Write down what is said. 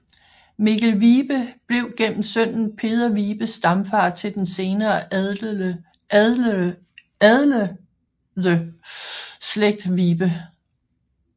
Mikkel Vibe blev gennem sønnen Peder Vibe stamfar til den senere adlede slægt Vibe